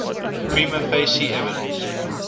prima facie evidence